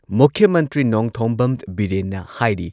ꯃꯨꯈ꯭꯭ꯌ ꯃꯟꯇ꯭ꯔꯤ ꯅꯣꯡꯊꯣꯝꯕꯝ ꯕꯤꯔꯦꯟꯅ ꯍꯥꯏꯔꯤ